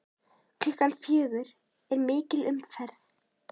Klukkan fjögur er mikil umferð.